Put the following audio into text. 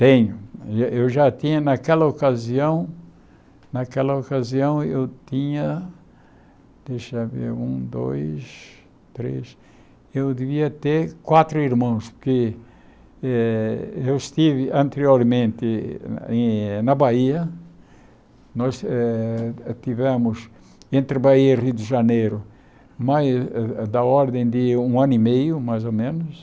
Tenho, eu eu já tinha naquela ocasião, naquela ocasião eu tinha, deixa ver, um, dois, três, eu devia ter quatro irmãos, porque eh eu estive anteriormente em na Bahia, nós eh eh estivemos entre Bahia e Rio de Janeiro, mais da ordem de um ano e meio, mais ou menos,